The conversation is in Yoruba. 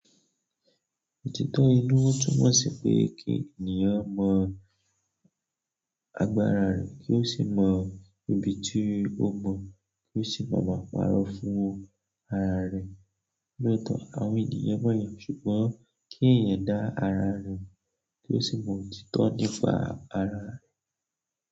Òtítọ́ inú túmọ̀ sí pé kí ènìyàn mọ agbára rẹ̀, kí ó sì mọ ibi tí ó mọ̀, kí ó sì máa máa parọ́ fún ara rẹ̀. Lóòótọ́ àwọn ènìyàn mọ̀ ẹyi, ṣùgbọ́n kí ẹ̀yẹn dá ara rẹ̀ mọ̀ kí ó sì mọ òtítọ́ nípa ara rẹ̀.